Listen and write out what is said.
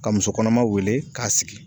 Ka musokɔnɔma wele k'a sigi